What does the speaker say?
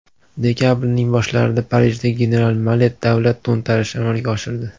Dekabrning boshlarida Parijda general Malet davlat to‘ntarishi amalga oshirdi.